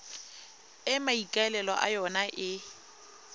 e maikaelelo a yona e